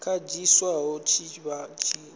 kanzhisa i tshi vha i